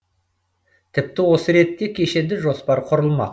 тіпті осы ретте кешенді жоспар құрылмақ